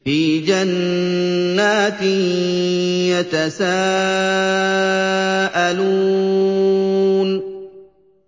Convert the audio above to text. فِي جَنَّاتٍ يَتَسَاءَلُونَ